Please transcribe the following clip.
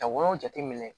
Ka woyɔ jateminɛ